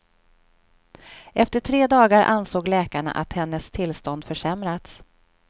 Efter tre dagar ansåg läkarna att hennes tillstånd försämrats.